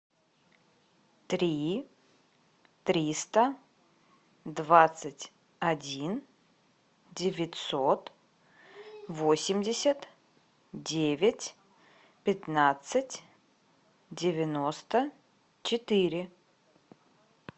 три триста двадцать один девятьсот восемьдесят девять пятнадцать девяносто четыре